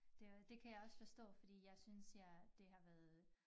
Det øh det kan jeg også forstå fordi jeg synes jeg det har været